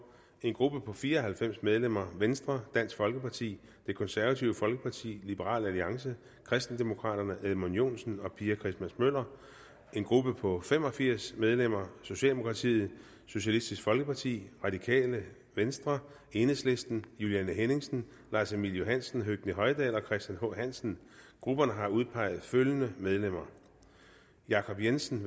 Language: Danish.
en gruppe på fire og halvfems medlemmer venstre dansk folkeparti det konservative folkeparti liberal alliance kristendemokraterne edmund joensen og pia christmas møller en gruppe på fem og firs medlemmer socialdemokratiet socialistisk folkeparti radikale venstre enhedslisten juliane henningsen lars emil johansen høgni hoydal og christian h hansen grupperne har udpeget følgende medlemmer jacob jensen